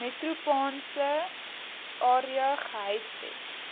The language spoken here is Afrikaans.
metropolitaanse area gehuisves